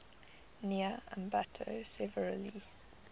near ambato severely